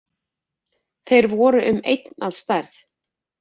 Þeir voru um einn að stærð